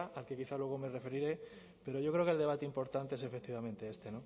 al que quizá luego me referiré pero yo creo que el debate importante es efectivamente este